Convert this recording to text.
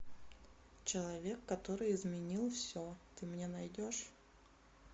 человек который изменил все ты мне найдешь